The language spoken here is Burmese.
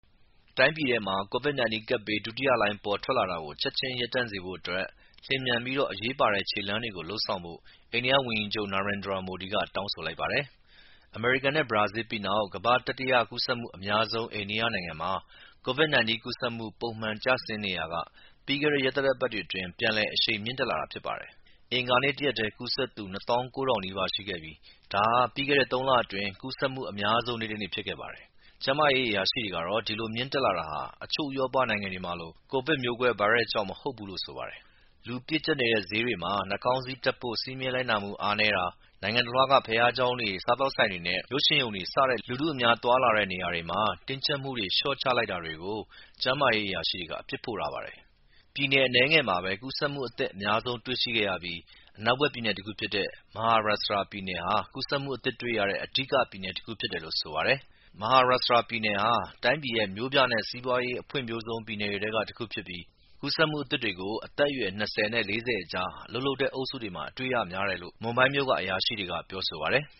တိုင်းပြည်ထဲမှာ COVID-19 ကပ်ဘေး ဒုတိယလှိုင်းပေါ်ထွက်လာတာကို ချက်ချင်း ရပ်တန့်စေဖို့ လျင်မြန်ပြီး အရေးပါတဲ့ ခြေလှမ်းတွေကို လုပ်ဆောင်ဖို့အိန္ဒိယဝန်ကြီးချုပ် Narendra Modi က တောင်းဆိုလိုက်ပါတယ်။ အမေရိကန်နဲ့ ဘရာဇီး ပြီးနောက် ကမ္ဘာ့ တတိယ ကူးစက်မှုအများဆုံး အိန္ဒိယနိုင်ငံမှာ COVID-19 ကူးစက်မှု ပုံမှန် ကျဆင်းနေရာက ပြီးခဲ့တဲ့ ရက်သတ္တပတ်တွေအတွင်း ပြန်လည် အရှိန်မြင့်တက်လာတာဖြစ်ပါတယ်။ အင်္ဂါနေ့တရက်ထဲ ကူးစက်သူ အသစ် ၂၉၀၀၀ နီးပါးရှိခဲ့ပြီး ဒါဟာ ပြီးခဲ့တဲ့ သုံးလအတွင်း ကူးစက်မှုအများဆုံးနေ့တနေ့ဖြစ်ခဲ့ပါတယ်။ ကျန်းမာရေး အရာရှိတွေကတော့ ဒီလို မြင့်တက်လာတာဟာ အချို့ ဥရောပနိုင်ငံတွေမှာလို မျိူးကွဲ ဗိုင်းရပ်စ်ကြောင့် မဟုတ်ဘူးလို့ဆိုပါတယ်။ လူပြည့်ကျပ်နေတဲ့ ဈေးတွေမှာ နှာခေါင်းစည်းတပ်ဖို့စည်းမျဉ်းလိုက်နာမှု အားနည်းတာ၊ နိုင်ငံတလွှားက ဘုရားကျောင်းတွေ၊ စားသောက်ဆိုင် တွေနဲ့ရုပ်ရှင်ရုံတွေ စတဲ့ လူထုအများသွားလာတဲ့နေရာတွေမှာ တင်းကျပ်မှုတွေ လျှော့ချလိုက်တာ တွေကို ကျန်းမာရေးအရာရှိတွေက အပြစ်ဖို့ပါတယ်။ ပြည်နယ်အနည်းငယ်မှာပဲ ကူးစက်မှု အသစ်အများဆုံး တွေ့ရတဲ့ပြီး အနောက်ဘက်ပြည်နယ်တခုဖြစ်တဲ့ Maharashtra ဟာ ကူးစက်မှုအသစ်တွေ့ရတဲ့ အဓိက ပြည်နယ်တခုဖြစ်တယ်လို့ဆိုပါတယ်။ Maharashtra ပြည်နယ်ဟာ တိုင်းပြည်ရဲ့ မြို့ပြနဲ့စီးပွားရေး အဖွံ့ဖြိုးဆုံးပြည်နယ်တွေထဲက တခုဖြစ်ပြီး ကူးစက်မှု အသစ်တွေကို အသက်အရွယ် ၂၀ နဲ့၄၀ အကြား အလုပ်လုပ်တဲ့ အုပ်စုတွေမှာ တွေ့ရ များတယ်လို့ မွမ်ဘိုင်းမြို့က အရာရှိတွေက ဆိုပါတယ်။